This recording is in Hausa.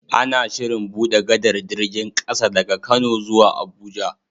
Ana Shirin buɗe gadar jirgin ƙasa daga kano zuwa abuja